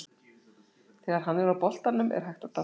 Þegar hann er á boltanum er hægt að dást að mörgu.